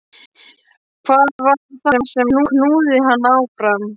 Hvað var það sem knúði hana áfram?